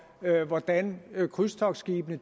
hvordan krydstogtskibene